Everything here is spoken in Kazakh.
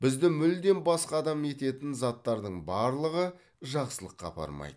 бізді мүлдем басқа адам ететін заттардың барлығы жақсылыққа апармайды